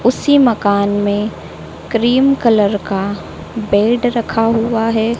उसी मकान में क्रीम कलर का बेड रखा हुआ है।